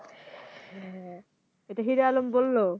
হ্যাঁ এটা Heroalom বললো